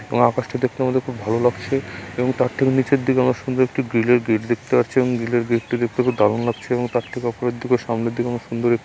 এবং আকাশটি দেখতে আমাদের খুব ভালো লাগছে এবং তার ঠিক নিচের দিকে আমরা সুন্দর একটি গ্রিলের গেট দেখতে পাচ্ছি এবং গ্রিলের গেটটি দেখতে খুব দারুণ লাগছে এবং তার ঠিক অপরের দিকে ও সামনের দিকে আমরা সুন্দর এক --